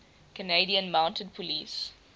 canadian mounted police